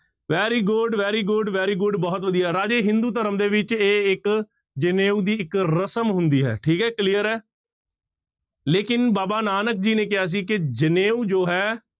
Very good, very good, very good ਬਹੁਤ ਵਧੀਆ ਰਾਜੇ ਹਿੰਦੂ ਧਰਮ ਦੇ ਵਿੱਚ ਇਹ ਇੱਕ ਜਨੇਊ ਦੀ ਇੱਕ ਰਸ਼ਮ ਹੁੰਦੀ ਹੈ ਠੀਕ ਹੈ clear ਹੈ ਲੇਕਿੰਨ ਬਾਬਾ ਨਾਨਕ ਜੀ ਨੇ ਕਿਹਾ ਸੀ ਕਿ ਜਨੇਊ ਜੋ ਹੈ,